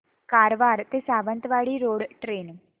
कारवार ते Sawantwadi road train